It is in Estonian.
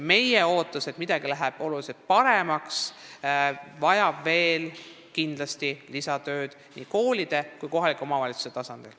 Meie ootus on, et midagi läheb tunduvalt paremaks, aga see kõik vajab veel lisatööd nii koolide kui kohalike omavalitsuste tasandil.